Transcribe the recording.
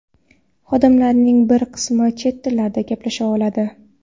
Xodimlarning bir qismi chet tillarida gaplasha oladi.